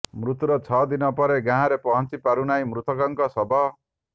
ମୃତ୍ୟୁର ଛଅ ଦିନ ପରେ ଗାଁରେ ପହଞ୍ଚି ପାରୁନାହିଁ ମୃତକଙ୍କ ଶବ